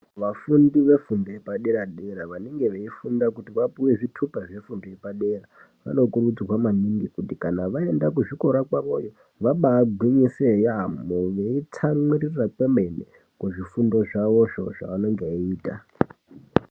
Vafundi vefundo yepadera dera, vanenge veyifunda kuti vapiwe zvitupa zvefundo yepadera. Vanokurudzirwa maningi kuti kana vaenda kuzvikora kwavo, vabagwinyise yambo veyitsamwirisa kwemene kuzvifundo zvavo zvo zvavanenge veyita.